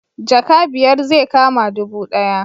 Jaka biyar zai kama dubu ɗaya